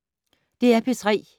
DR P3